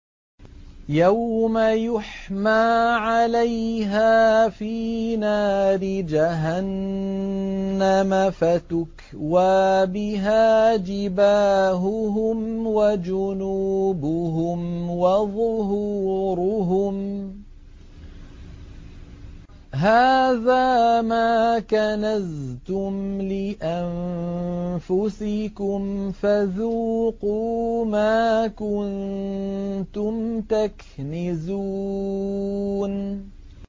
يَوْمَ يُحْمَىٰ عَلَيْهَا فِي نَارِ جَهَنَّمَ فَتُكْوَىٰ بِهَا جِبَاهُهُمْ وَجُنُوبُهُمْ وَظُهُورُهُمْ ۖ هَٰذَا مَا كَنَزْتُمْ لِأَنفُسِكُمْ فَذُوقُوا مَا كُنتُمْ تَكْنِزُونَ